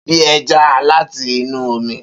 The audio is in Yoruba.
Bi ẹja lati inu omi.